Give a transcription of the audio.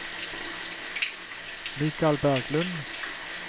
Mikal Berglund